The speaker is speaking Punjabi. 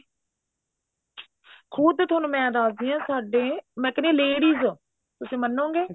ਖੁਦ ਤੁਹਾਨੂੰ ਮੈਂ ਦੱਸਦੀ ਹਾਂ ਸਾਡੇ ਮੈਂ ਕਹਿੰਦੀ ਹਾਂ ladies ਤੁਸੀਂ ਮੰਨੋਗੇ